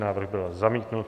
Návrh byl zamítnut.